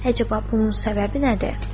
Əcəba bunun səbəbi nədir?